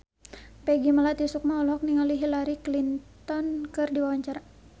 Peggy Melati Sukma olohok ningali Hillary Clinton keur diwawancara